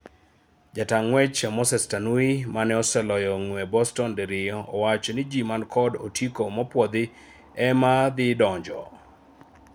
Jataa ng'wech Moses Tanui mane oseloyo ng'we Boston diriyo owacho jii mano kod otiko mopwodhi ema dhi donjo